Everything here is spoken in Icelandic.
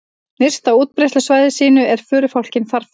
Nyrst á útbreiðslusvæði sínu er förufálkinn farfugl.